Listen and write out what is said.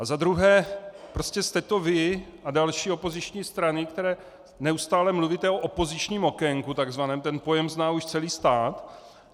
A za druhé, prostě jste to vy a další opoziční strany, které neustále mluvíte o opozičním okénku - takzvaném, ten pojem už zná celý stát.